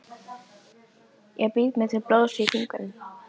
Honum lenti svona illilega saman við leigubílstjóra.